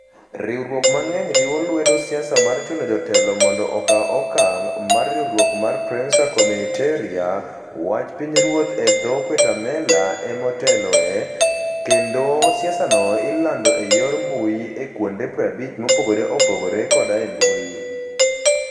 Riwruok mang'eny riwo lwedo siasa mar chuno jotelo mondo okaw okang ', ma riwruok mar Prensa Comunitaria ("Wach Pinyruoth " e dho - Guatemala) ema oteloe, kendo siasano ilando e yor mbuyi e kuonde 50 mopogore opogore koda e mbui.